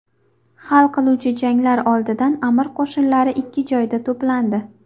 Hal qiluvchi janglar oldidan amir qo‘shinlari ikki joyda to‘plandi.